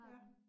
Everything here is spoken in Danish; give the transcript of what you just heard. Ja